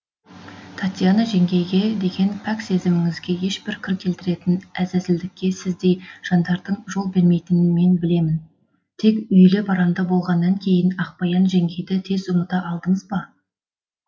татьяна жеңгейге деген пәк сезіміңізге ешбір кір келтіретін әзәзілдікке сіздей жандардың жол бермейтінін мен білемін тек үйлі баранды болғаннан кейін ақбаян жеңгейді тез ұмыта алдыңыз ба